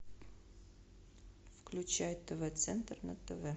включай тв центр на тв